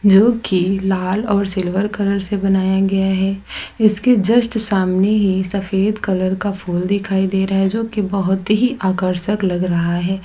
जो की लाल और सिल्वर कलर से बनाया गया है इसके जस्ट सामने ही सफेद कलर का फूल दिखाई दे रहा है जो की बहुत ही आकर्षक लग रहा है।